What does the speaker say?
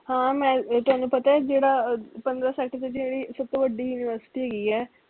ਹਾਂ ਮੈਂ ਇਹ ਤੁਹਾਨੂੰ ਪਤਾ ਅਹ ਜਿਹੜਾ ਪੰਦਰਾਂ sector ਤੋਂ ਜਿਹੜੀ ਸਬ ਤੋਂ ਵੱਡੀ university ਹੇਗੀ ਐ